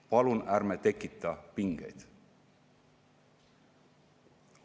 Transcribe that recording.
Palun ärme tekitame pingeid!